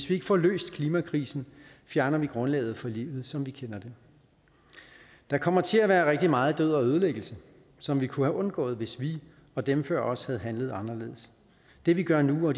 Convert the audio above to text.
vi får løst klimakrisen fjerner vi grundlaget for livet som vi kender det der kommer til at være rigtig meget død og ødelæggelse som vi kunne have undgået hvis vi og dem før os havde handlet anderledes det vi gør nu og